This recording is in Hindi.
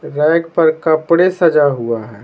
रैग पर कपड़े सजा हुआ है।